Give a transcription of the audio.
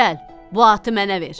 Gəl, bu atı mənə ver.